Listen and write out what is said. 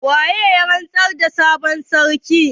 Wane ne ya rantsar da sabon sarkin?